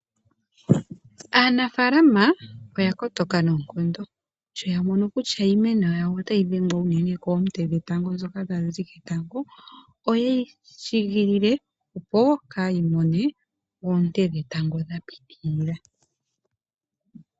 Aanafalama oya kotoka noonkondo sho ya mono kutya iimeno yawo otayi dhengwa uunene koote dhoka tadhi zi ketango, oye shigilile opo kayi mone oote dhetango dha pitilila.